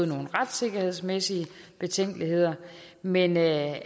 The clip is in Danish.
nogle retssikkerhedsmæssige betænkeligheder men at